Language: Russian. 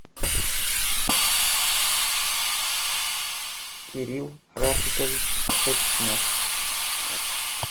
кирилл рафикович шерстнев